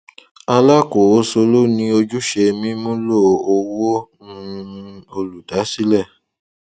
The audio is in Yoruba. alákòóso ló ní ojúṣe mímúlò owó um olùdásílẹ